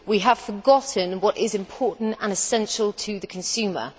We have forgotten what is important and essential to the consumer.